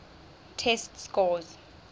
test scores